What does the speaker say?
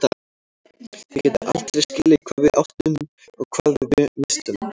Þið getið aldrei skilið hvað við áttum og hvað við misstum.